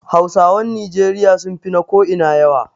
Hausawan Nijeriya sun fi na ko'ina yawa.